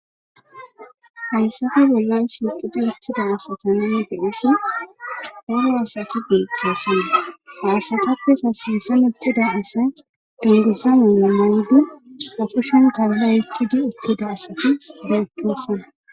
Hayissappe bollani shiqidi uttida assata nunni be'shin darro assati betosona ha asatapeka sinthani utidda assa dunguza mayo mayidi tora oyikid betosona.